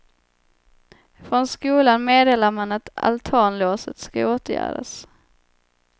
Från skolan meddelar man att altanlåset ska åtgärdas.